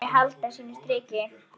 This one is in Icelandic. Hún muni halda sínu striki.